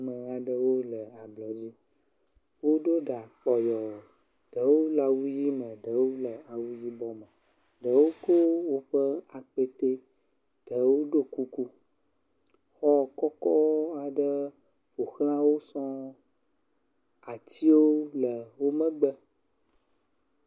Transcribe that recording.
Ame aɖewo le ablɔ nu, woɖo ɖa kpɔyɔ, ɖewo le awu ʋe me, ɖewo le awu yibɔ me, ɖewo ko woƒe akpete, ɖewo ɖo kuku, xɔ kɔkɔ aɖewo ƒo xla wo sɔŋ, atiwo le wo megbe.